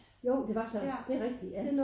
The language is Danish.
Jo det var så det rigtig ja